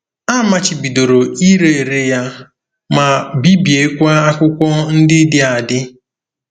A machibidoro ire ere ya, ma bibiekwa akwụkwọ ndị dị adị.